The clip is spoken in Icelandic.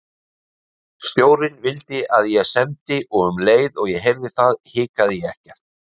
Stjórinn vildi að ég semdi og um leið og ég heyrði það hikaði ég ekkert.